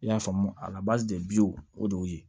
I y'a faamu a o de y'o ye